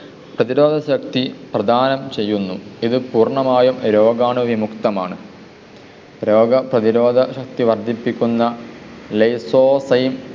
പ്രതിരോധ ശക്തി പ്രദാനം ചെയ്യുന്നു. ഇത് പൂര്‍ണമായും രോഗാണു വിമുക്തമാണ്. രോഗ പ്രതിരോധ ശക്തി വർദ്ധിപ്പിക്കുന്ന lyzozyme